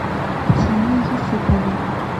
татьяне юсуповой